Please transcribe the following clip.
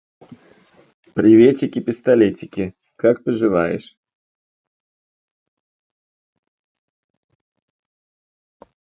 приветики пистолетики как поживаешь